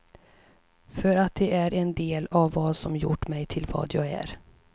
För att de är en del av vad som gjort mig till vad jag är.